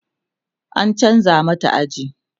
an chanza mata aji